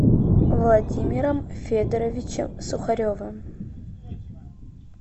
владимиром федоровичем сухаревым